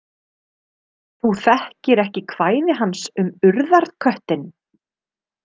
Þú þekkir ekki kvæði hans um Urðarköttinn?